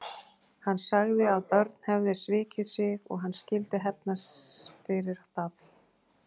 Hann sagði að Örn hefði svikið sig og hann skyldi hefna fyrir það.